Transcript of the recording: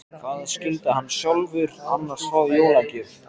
Hvað skyldi hann sjálfur annars fá í jólagjöf?